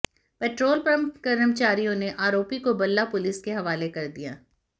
petrol pump कर्मचारियों ने आरोपी को बल्ला पुलिस के हवाले कर दिया